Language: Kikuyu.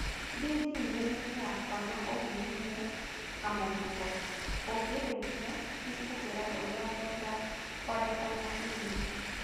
Thiĩ gmail-inĩ yakwa na ũhihinye kamũhuko. Ũngĩrĩkia, nĩ ngũkwĩra ũrĩa ngwenda kwandĩka na e-mail.